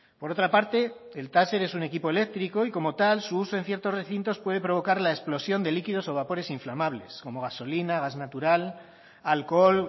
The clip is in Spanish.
por otra parte el taser es un equipo eléctrico y como tal su uso en ciertos recintos puede provocar la explosión de líquidos o vapores inflamables como gasolina gas natural alcohol